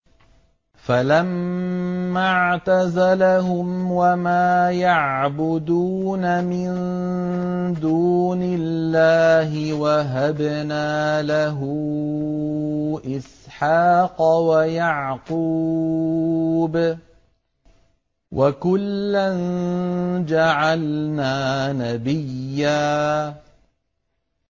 فَلَمَّا اعْتَزَلَهُمْ وَمَا يَعْبُدُونَ مِن دُونِ اللَّهِ وَهَبْنَا لَهُ إِسْحَاقَ وَيَعْقُوبَ ۖ وَكُلًّا جَعَلْنَا نَبِيًّا